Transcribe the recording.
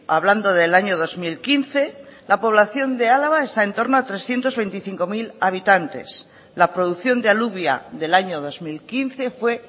hablando del año dos mil quince la población de álava está en torno a trescientos veinticinco mil habitantes la producción de alubia del año dos mil quince fue